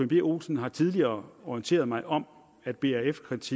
b olsen har tidligere orienteret mig om at brf kredit